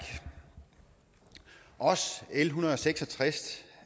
også l en hundrede og seks og tres